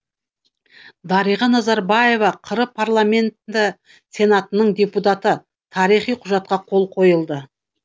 дариға назарбаева қр парламенті сенатының депутаты тарихи құжатқа қол қойылды